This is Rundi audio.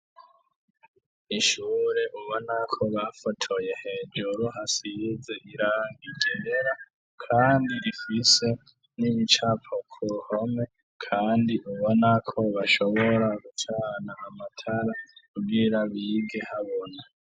Ishure ubona ko bafotoye, hejuru hasize irangi ryera, kandi rifise n'ibicapo ku ruhome, kandi ubona ko bashobora gucana amatara kugira bige habona.